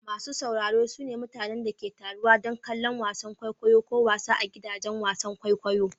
Masu sauraro su ne mutanen da ke taruwa don kallon wasan kwaikwayo ko wasa a gidajen wasan kwaikwayo.